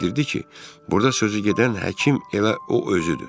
burda sözü gedən həkim elə o özüdür.